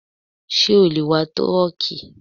Ṣé o lè wa trọ́ọ́kì?